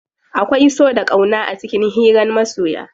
Akwai so da ƙauna a cikin hiran masoya.